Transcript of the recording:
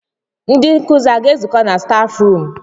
Ndị nkụzi aga ezukọ na staf ruum?